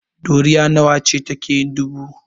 Ɗoriya nawa ce take yin dubu?